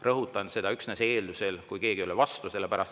Rõhutan: seda üksnes eeldusel, kui keegi ei ole vastu.